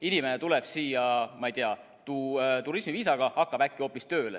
Inimene tuleb siia, ma ei tea, turismiviisaga, hakkab äkki hoopis tööle.